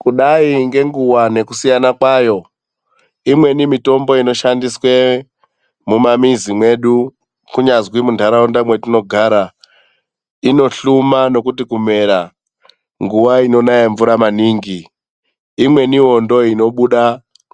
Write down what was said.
Kudai kwenguva nekusiyana kwayo, imweni mitombo inoshandiswa mumamizi medu kunyazi mundaraunda matinogara, inohluma nekuti kumera nguva inonaya mvura maningi. Imweniwo ndoinobuda